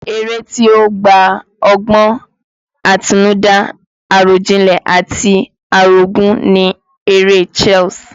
Eré tí ó gba ọgbọ́n àtinúdá, àròjinlẹ̀ àti àrògún ni eré chess